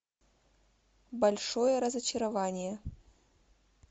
большое разочарование